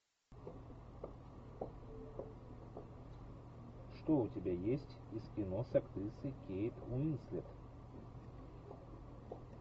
что у тебя есть из кино с актрисой кейт уинслет